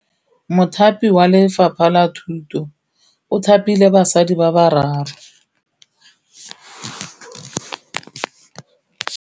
Mothapi wa Lefapha la Thutô o thapile basadi ba ba raro.